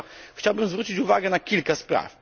Chciałbym zwrócić uwagę na kilka spraw.